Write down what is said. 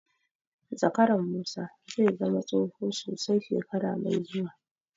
Zakaran Musa zai zama tsoho sosai shekara mai zuwa.